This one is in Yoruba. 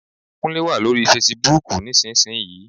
Kúnlé wà lórí fesibúùkù nísinsìnyí